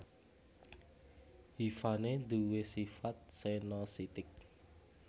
Hifané duwé sifat senositik